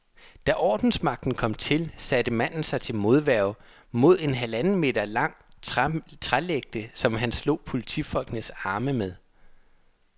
Da ordensmagten kom til, satte manden sig til modværge med en halvanden meter lang trælægte, som han slog politifolkenes arme med.